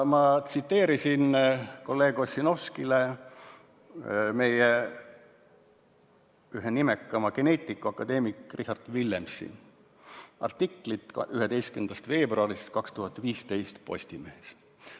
Ma tsiteerisin kolleeg Ossinovskile meie ühe nimekaima geneetiku, akadeemik Richard Villemsi artiklit 11. veebruarist 2015 Postimehes.